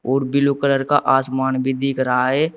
और blue colour का आसमान भी दिख रहा है।